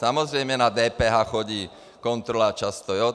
Samozřejmě na DPH chodí kontrola často.